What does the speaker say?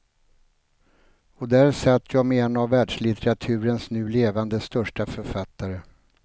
Och där satt jag med en av världslitteraturens nu levande största författare.